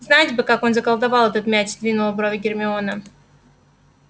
знать бы как он заколдовал этот мяч сдвинула брови гермиона